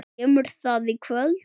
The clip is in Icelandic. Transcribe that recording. Kemur það í kvöld?